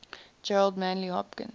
gerard manley hopkins